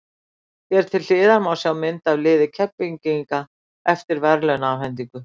Hér til hliðar má sjá mynd af liði Keflvíkinga eftir verðlaunaafhendingu.